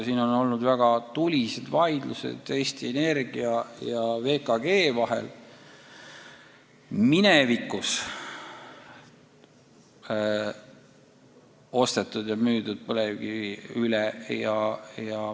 On olnud väga tulised vaidlused Eesti Energia ja VKG vahel minevikus ostetud ja müüdud põlevkivi teemal.